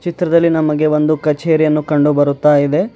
ಚಿತ್ರದಲ್ಲಿ ನಮಗೆ ಒಂದು ಕಚೇರಿಯನ್ನು ಕಂಡು ಬರುತಾ ಇದೆ.